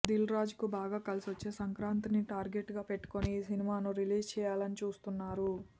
దిల్ రాజు కు బాగా కలిసొచ్చే సంక్రాంతిని టార్గెట్ గా పెట్టుకున్న ఈ సినిమాను రిలీజ్ చేయాలనీ చూస్తున్నారు